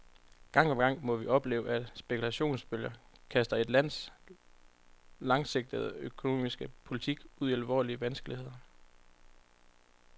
Gang på gang må vi opleve, at spekulationsbølger kaster et lands langsigtede økonomiske politik ud i alvorlige vanskeligheder.